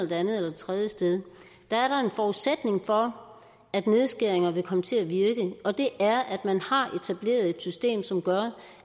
det andet eller det tredje sted er der en forudsætning for at nedskæringerne vil komme til at virke og det er at man har etableret et system som gør